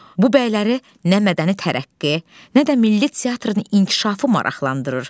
Bu bəyləri nə mədəni tərəqqi, nə də milli teatrın inkişafı maraqlandırır.